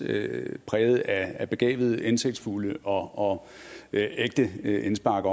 præget af begavede indsigtsfulde og ægte indspark